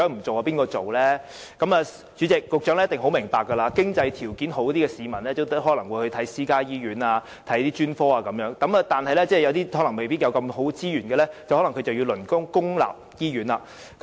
主席，局長一定會明白，經濟條件好的市民可能會光顧私家醫院和專科，但對於沒有充裕資源的市民，他們可能便要輪候公立醫院服務。